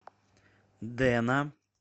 дэна